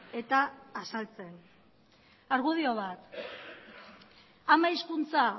eta azaltzen argudio bat ama hizkuntza